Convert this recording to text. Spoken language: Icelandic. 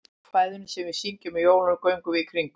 Í kvæðinu sem við syngjum á jólunum, Göngum við í kringum.